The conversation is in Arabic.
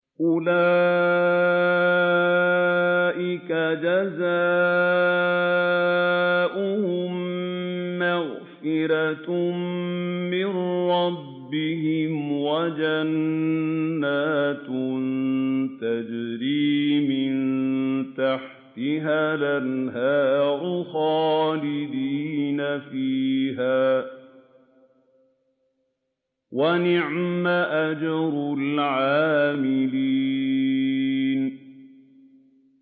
أُولَٰئِكَ جَزَاؤُهُم مَّغْفِرَةٌ مِّن رَّبِّهِمْ وَجَنَّاتٌ تَجْرِي مِن تَحْتِهَا الْأَنْهَارُ خَالِدِينَ فِيهَا ۚ وَنِعْمَ أَجْرُ الْعَامِلِينَ